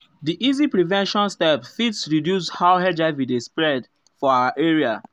di easy prevention steps fit reduce how hiv dey spread ah for our area.